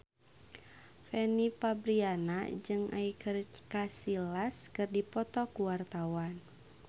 Fanny Fabriana jeung Iker Casillas keur dipoto ku wartawan